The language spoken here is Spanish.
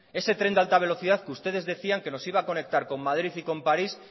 ese tren de alta velocidad que ustedes decían que nos iba a conectar con madrid y con parís